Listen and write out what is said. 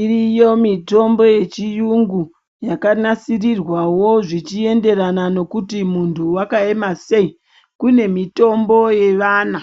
Iriyo mitombo yechiyungu yakanasirirwawo zvichienderana nekuti muntu wakaema sei. Kune mitombo yevana